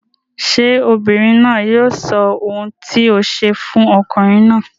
Ṣé ọmọbìnrin náà yóò sọ ohun tí o ṣe fún ọkùnrin náà?